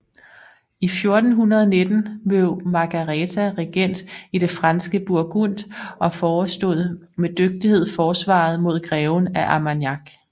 I 1419 blev Margareta regent i det franske Burgund og forestod med dygtighed forsvaret mod greven af Armagnac